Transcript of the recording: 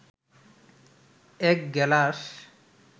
এক গেলাস